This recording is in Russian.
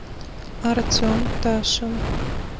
артем ташин